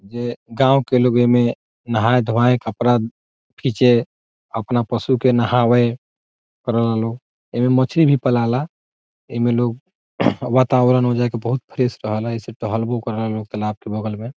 जे गांव के लोग ए में नहाय धोवाय कपड़ा खींचे अपना पशु के नहावे करेला लोग ए मे मछली भी पलाला एमे लोग वातावरण मे जाके बहुत फ्रेश रहेला ऐसे टहलवो करेला लोग तालाब के बगल में ।